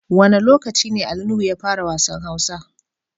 Wane locaci ne Ali Nuhu ya fara wassan Hausa?